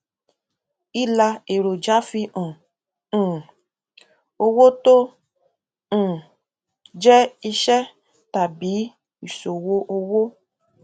ilà èròjà fi hàn um owó tó um jẹ iṣẹ tàbí ìṣòwò owó